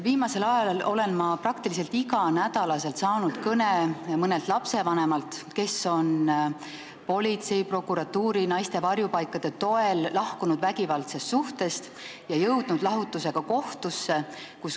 Viimasel ajal olen ma peaaegu igal nädalal saanud kõne mõnelt lapsevanemalt, kes on politsei, prokuratuuri ja naiste varjupaikade toel lahkunud vägivaldsest suhtest ning jõudnud lahutusega kohtusse.